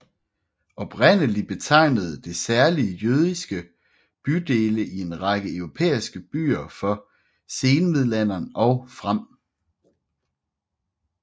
Oprindelig betegnede det særlige jødiske bydele i en række europæiske byer fra senmiddelalderen og frem